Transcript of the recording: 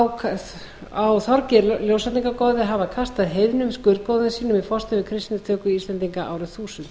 á þorgeir ljósvetningagoði að hafa kastað heiðnum skurðgoðum sínum við forstöðu kristnitöku íslendinga árið þúsund